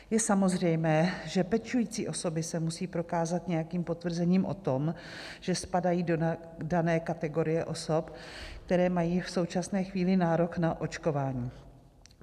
Je samozřejmě, že pečující osoby se musí prokázat nějakým potvrzením o tom, že spadají do dané kategorie osob, které mají v současné chvíli nárok na očkování.